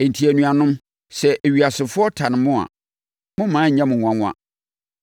Enti, anuanom, sɛ ewiasefoɔ tane mo a, mommma ɛnyɛ mo nwanwa.